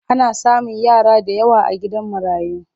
Ana samun yara da yawa a gidan marayu.